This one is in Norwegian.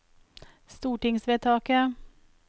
stortingsvedtaket